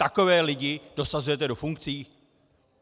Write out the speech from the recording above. Takové lidi dosazujete do funkcí?